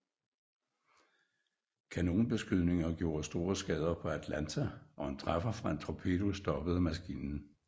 Kanonbeskydningen gjorde store skader på Atlanta og en træffer fra en torpedo stoppede maskinen